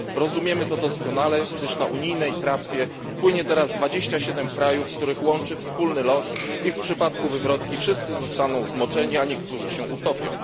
Rozumiemy to doskonale, gdyż na unijnej tratwie płynie teraz 27 państw, których łączy wspólny los i w przypadku wywrotki wszyscy zostaną zmoczeni, a niektórzy się utopią.